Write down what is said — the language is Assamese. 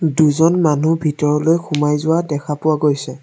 দুজন মানুহ ভিতৰলৈ সোমাই যোৱা দেখা পোৱা গৈছে।